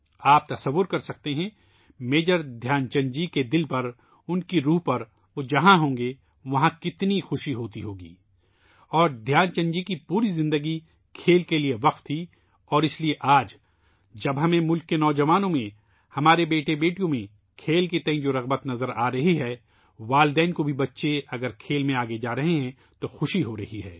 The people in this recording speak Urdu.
آپ تصور کر سکتے ہیں ،میجر دھیان چند جی کے دل پر ، اُن کی آتما پر ، وہ جہاں ہوں گے ،وہاں کتنی خوشی ہو گی اور دھیان چند جی کی پوری زندگی کھیل کے لئے وقف تھی اور اس لئے آج جب ہمیں ملک کے نو جوانوں میں ، ہمارے بیٹے بیٹیوں میں کھیل کے تئیں ، جو دلچسپی نظر آ رہی ہے ، ماں باپ کو بھی ، بچے اگر کھیل میں آگے جا رہے ہیں تو خوشی ہو رہی ہے